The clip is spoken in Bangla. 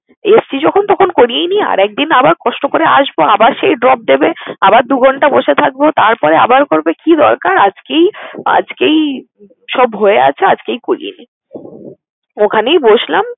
এসছি যখন তখন করিয়েই নেই। আরেকদিন আবার কষ্ট করে আসবো, আবার সে drop দেবে, আবার দু ঘন্টা বসে থাকবো, তারপরে আবার করবে। কি দরকার আজকেই আজকেই সব হয়ে গেছে আজকেই করিয়ে নেই। ওখানেই বসলাম।